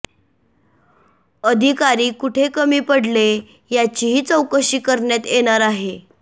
अधिकारी कुठे कमी पडले याची ही चौकशी करण्यात येणार आहे